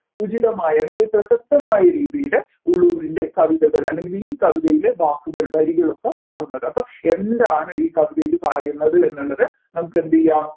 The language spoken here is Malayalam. ഉചിതമായ വളരെ പ്രസക്തമായ രീതിയിൽ ഉള്ളൂരിന്റെ കവിതകൾ അല്ലെങ്കിൽ ഈ കവിതയിലെ വാക്കുകൾ വരികളൊക്കെ മാറുന്നത് അപ്പൊ എന്താണ് ഈ കവിതയിൽ പറയുന്നത് എന്നുള്ളത് നമ്മുക്കെന്തിയ്യാം